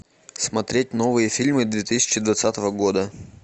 смотреть новые фильмы две тысячи двадцатого года